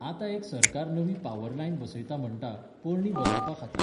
आतां एक सरकार नवी पावर लायन बसयता म्हणटा, पोरणी बदलपा खातीर.